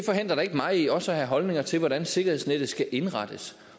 forhindrer da ikke mig i også at have holdninger til hvordan sikkerhedsnettet skal indrettes